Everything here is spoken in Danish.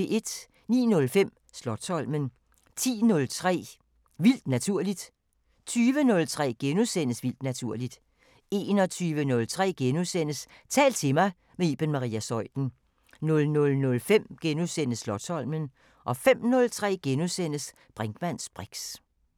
09:05: Slotsholmen 10:03: Vildt naturligt 20:03: Vildt naturligt * 21:03: Tal til mig – med Iben Maria Zeuthen * 00:05: Slotsholmen * 05:03: Brinkmanns briks *